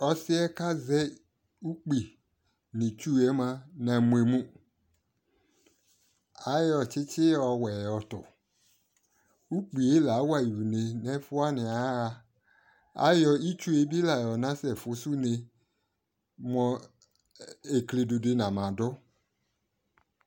Ɔsɩ kʊ azɛ ʊkpɩ nʊ itsu yɛ mʊa agbemu ayɔ tsi tsi yɔtʊ ukpɩyɛ lawayɩ ʊne wanɩ ayaɣa ayɔ ɩtsʊ bɩ la yɔnasɛfʊsʊ ʊne mʊ eklɩdʊdɩ namadu